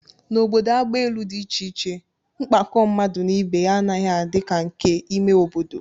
N'obodo agbaelu dị iche iche, mkpakọ mmadụ na ibe ya anaghị adị ka nke ime obodo